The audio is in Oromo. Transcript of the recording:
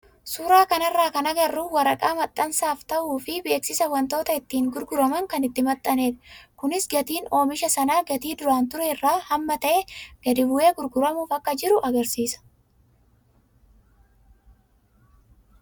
Suuraa kanarraa kan agarru waraqaa kan maxxansaaf ta'uu fi beeksisa wantoota ittiin gurguraman kan itti maxxanedha. Kunis gatiin oomisha sanaa gatii duraan ture irraa hamma ta'e gadi bu'ee gurguramuuf akka jiru agarsiisa.